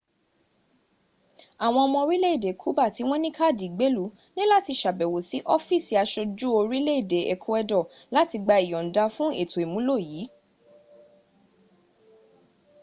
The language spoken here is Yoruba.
àwọn ọmọ orìlé-èdè cuban tí wọ́n ní káàdì ìgbéèlú ní láti sàbẹ̀wò sí ọ́fíìsì asojú orìlé-èdè ecuador láti gba ìyònda fún ètò ìmúlò yí